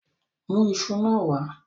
Mu isu naa wa